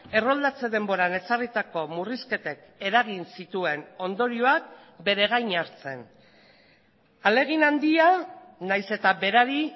erroldatze denboran ezarritako murrizketek eragin zituen ondorioak bere gain hartzen ahalegin handia nahiz eta berari